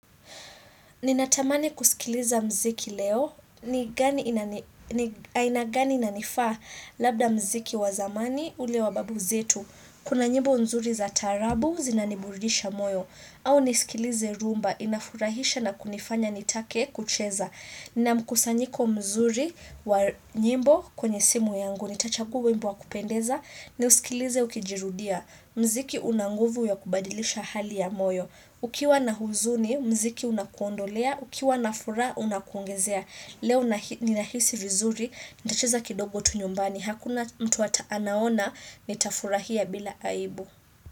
Ninatamani kusikiliza mziki leo. Aina gani inanifaa labda mziki wa zamani ule wa babu zetu. Kuna nyimbo nzuri za tarabu zinaniburidisha moyo. Au nisikilize rhumba inafurahisha na kunifanya nitake kucheza. Nina mkusanyiko mzuri wa nyimbo kwenye simu yangu. Nitachagua wimbo wa kupendeza niusikilize ukijirudia. Mziki una nguvu ya kubadilisha hali ya moyo. Ukiwa na huzuni, mziki unakuondolea. Ukiwa na furaha, unakuongezea. Leo ninahisi vizuri, nitacheza kidogo tu nyumbani. Hakuna mtu ata anaona, nitafurahia bila aibu.